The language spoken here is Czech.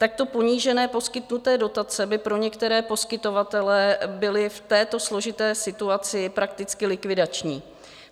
Takto ponížené poskytnuté dotace by pro některé poskytovatele byly v této složité situaci prakticky likvidační.